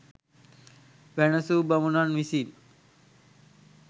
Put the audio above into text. වැනැසූ බමුණන් විසින්